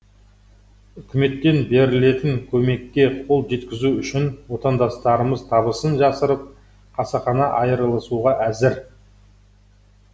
үкіметтен берілетін көмекке қол жеткізу үшін отандастарымыз табысын жасырып қасақана айырылысуға әзір